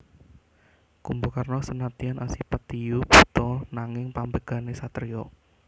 Kumbakarna senadyan asipat diyu buta nanging pambegané satriya